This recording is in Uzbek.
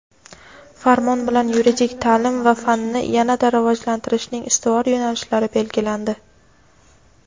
Farmon bilan yuridik taʼlim va fanni yana-da rivojlantirishning ustuvor yo‘nalishlari belgilandi.